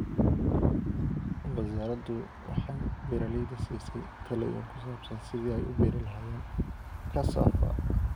Wasaaraddu waxay beeralayda siisay talooyin ku saabsan sidii ay u beeri lahaayeen Cassava.